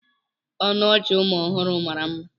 Ọnụ ọchị ụmụ ọhụrụ mara mma.